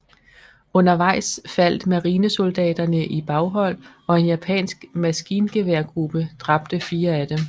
Undervejs faldt marinesoldaterne i baghold og en japansk maskingeværgruppe dræbte fire af dem